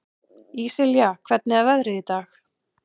Íslilja, hvernig er veðrið í dag?